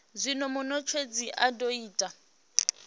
zwine munetshedzi a do ita